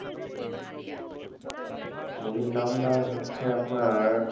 movie র নামটা হচ্ছে আপনার,